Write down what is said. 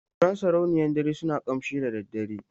Furen sarauniyar dare suna ƙamshi da daddare.